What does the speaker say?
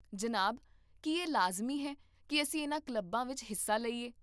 ਜਨਾਬ, ਕੀ ਇਹ ਲਾਜ਼ਮੀ ਹੈ ਕੀ ਅਸੀਂ ਇਨ੍ਹਾਂ ਕਲੱਬਾਂ ਵਿੱਚ ਹਿੱਸਾ ਲਈਏ?